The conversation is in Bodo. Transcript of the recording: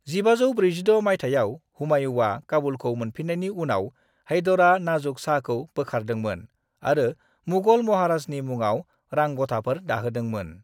1546 माइथायाव, हुमायुया काबुलखौ मोनफिन्नायनि उनाव, हैदरा नाज़ुक शाहखौ बोखारदोंमोन आरो मुगल महाराजानि मुङाव रांग'थाफोर दाहोदोंमोन।